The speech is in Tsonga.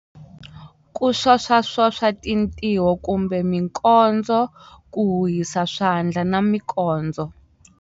Ku swoswaswoswa tintiho kumbe mikondzo ku huhisa swandla na mikondzo.